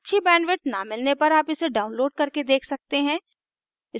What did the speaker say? अच्छी bandwidth न मिलने पर आप इसे download करके देख सकते हैं